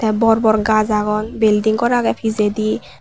bor bor gaj agon belding gor agey pijadi.